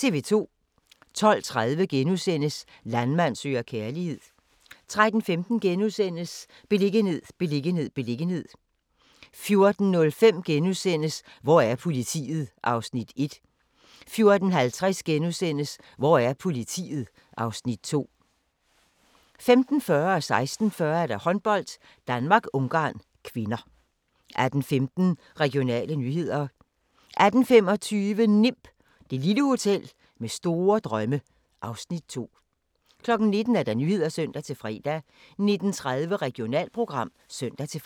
12:30: Landmand søger kærlighed * 13:15: Beliggenhed, beliggenhed, beliggenhed * 14:05: Hvor er politiet? (Afs. 1)* 14:50: Hvor er politiet? (Afs. 2)* 15:40: Håndbold: Danmark-Ungarn (k) 16:40: Håndbold: Danmark-Ungarn (k) 18:15: Regionale nyheder 18:25: NIMB - det lille hotel med store drømme (Afs. 2) 19:00: Nyhederne (søn-fre) 19:30: Regionalprogram (søn-fre)